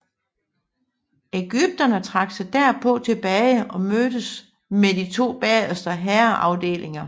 Ægypterne trak sig derpå tilbage og mødtes med de to bagerste hærafdelinger